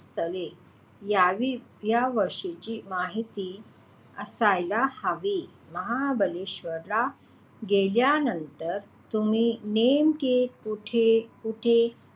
स्थळे यावी या विषयाची माहिती असायला हवी महाबळेश्वरला गेल्यानंतर तुम्ही नेमके कुठे कुठे,